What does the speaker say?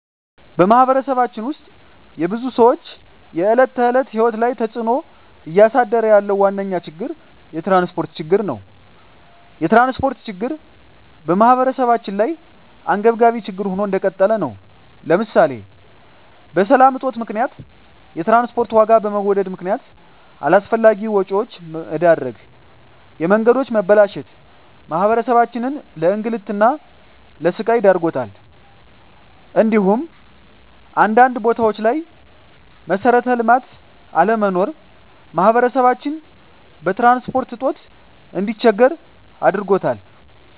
በማህበረሰባችን ውስጥ የብዙ ሰዎች የዕለት ተዕለት ህይወት ላይ ተፅእኖ እያሳደረ ያለው ዋነኛ ችግር የትራንስፖርት ችግር ነው። የትራንስፖርት ችግር በማህበረሰባችን ላይ አንገብጋቢ ችግር ሆኖ እንደቀጠለ ነው ለምሳሌ በሰላም እጦት ምክንያት የትራንስፖርት ዋጋ በመወደድ ምክነያት አላስፈላጊ ወጪዎች መዳረግ፣ የመንገዶች መበላሸት ማህበረሰባችንን ለእንግልትና ለስቃይ ዳርጓታል እንዲሁም አንዳንድ ቦታዎች ላይ መሠረተ ልማት አለመኖር ማህበረሰባችን በትራንስፖርት እጦት እንዲቸገር ዳርጎታል።